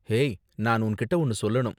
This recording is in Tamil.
ஹேய், நான் உன்கிட்ட ஒன்னு சொல்லணும் .